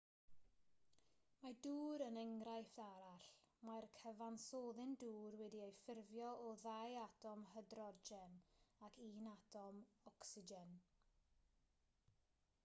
mae dŵr yn enghraifft arall mae'r cyfansoddyn dŵr wedi'i ffurfio o ddau atom hydrogen ac un atom ocsigen